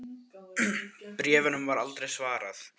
Bréfunum var aldrei svarað.